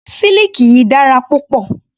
Siliki yìí dára púpọ̀.